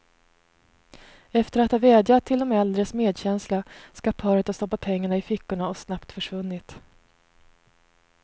Efter att ha vädjat till de äldres medkänsla skall paret ha stoppat pengarna i fickorna och snabbt försvunnit.